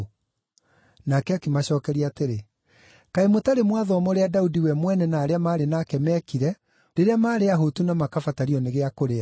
Nake akĩmacookeria atĩrĩ, “Kaĩ mũtarĩ mwathoma ũrĩa Daudi we mwene na arĩa maarĩ nake meekire rĩrĩa maarĩ ahũtu na makabatario nĩ gĩa kũrĩa?